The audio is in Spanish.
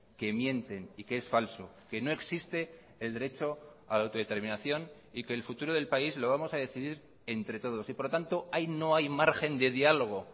que mienten y que es falso que no existe el derecho a la autodeterminación y que el futuro del país lo vamos a decidir entre todos y por lo tanto ahí no hay margen de diálogo